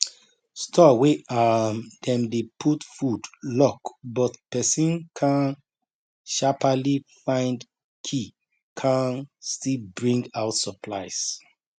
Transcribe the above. store wey um dem dey put food lock but pesin kan shapaly find key kan still bring out supplies